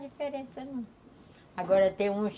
Faz diferença não. Agora tem uns